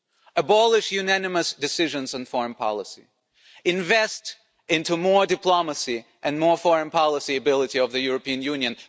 Abolish unanimous decisions and foreign policy, invest in more diplomacy and more foreign policy ability of the European Union.